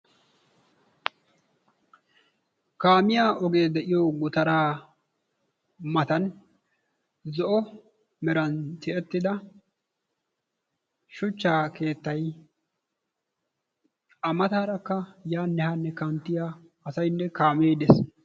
Kaamiya oge de'iyo gutaraa matan zo'o meran tiyyettida shochcha keettay, A matarakka yanne hanne kanttiya asaynne kaame dees.